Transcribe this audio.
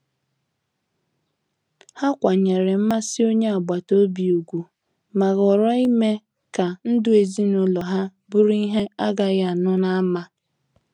Ha kwanyere mmasị onye agbata obi ugwu, ma họọrọ ime ka ndụ ezinụlọ ha bụrụ ihe agaghi anu n'ama.